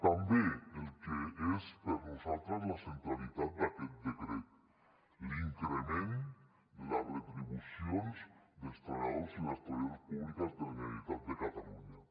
també el que és per nosaltres la centralitat d’aquest decret l’increment de les retribucions dels treballadors i les treballadores públiques de la generalitat de catalunya